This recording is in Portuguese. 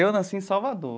Eu nasci em Salvador.